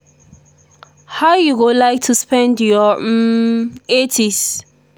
how you go like to spend your um 80s?